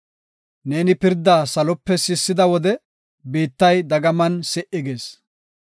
Neeni pirdaa salope sissida wode, biittay dagaman si77i gis.